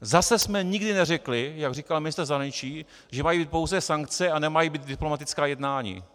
Zase jsme nikdy neřekli, jak říkal ministr zahraničí, že mají být pouze sankce a nemají být diplomatická jednání.